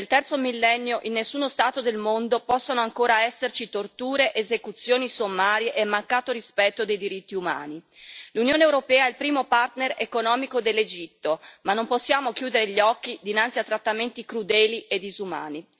Nel Terzo Millennio in nessuno Stato del mondo possono ancora esserci torture, esecuzioni sommarie e mancato rispetto dei diritti umani. L'Unione europea è il primo partner economico dell'Egitto, ma non possiamo chiudere gli occhi dinanzi a trattamenti crudeli e disumani.